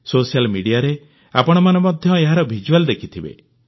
social ମିଡିଆରେ ଆପଣମାନେ ମଧ୍ୟ ଏହାର ଭିଜୁଆଲ ଦେଖିଥିବେ